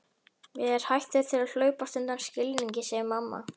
Mér hættir til að hlaupast undan skilningi, segir mamma.